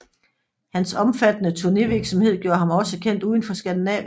Hans omfattende turnévirksomhed gjorde ham også kendt udenfor Skandinavien